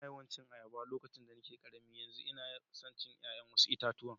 Na yawa cin ayaba a lokacin da nake karemi, yanzu una so wassu yayan itatuwa.